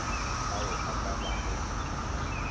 ao a ka ba go